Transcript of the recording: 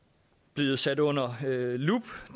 blevet sat under lup